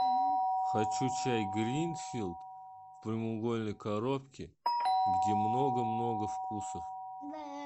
хочу чай гринфилд в прямоугольной коробке где много много вкусов